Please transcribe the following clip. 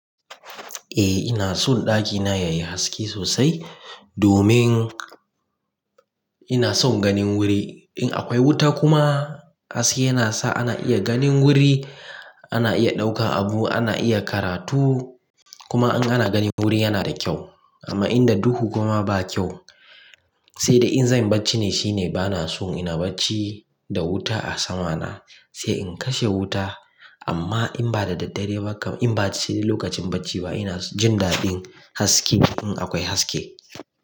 Eh ina son ɗakina yayi haske sosai domin ina son ganin wuri. In akwai wuta kuma haske yana sa ana iya ganin wuri, ana iya ɗaukan abu, ana iya karatu kuma in ana ganin wuri yana da kyau amma in da dukku kuma ba kyau. Sai da in zan yi bacci ne shine bana son ina bacci da wuta a sama na sai in kashe wuta amma in ba da daddare ba kam in baci ne lokacin bacci ba ina jin daɗin haske in akwai haske.